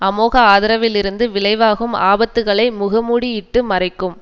அமோக ஆதரவிலிருந்து விளைவாகும் ஆபத்துக்களை முகமூடி இட்டு மறைக்கும்